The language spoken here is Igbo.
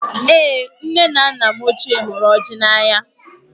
Èé! nne na nna m ochié hụrụ ọjị n'anya.